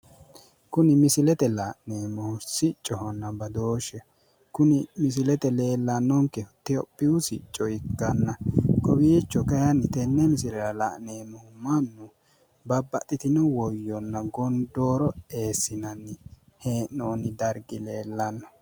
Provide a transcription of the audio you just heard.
Kuni misilete la'neemmohu siccohonna badooshsheho. Kuni misilete leellennonkehu itiyophiyu sicco ikkanna kowiicho kayiinni tenne misilera la'neemmohu mannu babaxxitino woyyonna gondooro eessinanni hee'noonni dargi leellanno.